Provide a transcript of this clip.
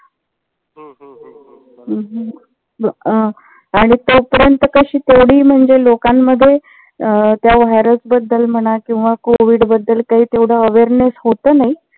हम्म हम्म अं आणि तो पर्यंत कसं तेवढही म्हणजे लोकांमध्ये अं त्या virus बद्दल म्हणा किंवा कोविड बद्दल काही तेवढ awareness होत नाही.